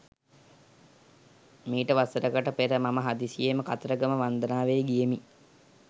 මීට වසරකට පෙර මම හදිසියේම කතරගම වන්දනාවේ ගියෙමි.